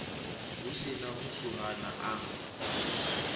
hu si na muswuhana a